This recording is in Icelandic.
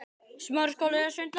Já, lagsi.